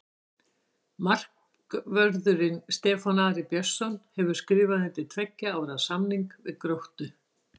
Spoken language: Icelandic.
Markvörðurinn Stefán Ari Björnsson hefur skrifað undir tveggja ára samning við Gróttu.